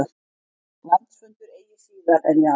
Landsfundur eigi síðar en í apríl